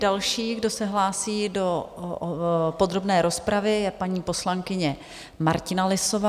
Další, kdo se hlásí do podrobné rozpravy, je paní poslankyně Martina Lisová.